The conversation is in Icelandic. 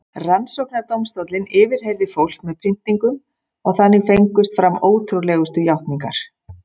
Rannsóknardómstóllinn yfirheyrði fólk með pyntingum og þannig fengust fram ótrúlegustu játningar.